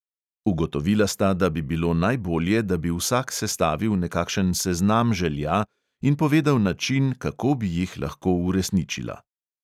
Ugotovila sta, da bi bilo najbolje, da bi vsak sestavil nekakšen seznam želja in povedal način, kako bi jih lahko uresničila.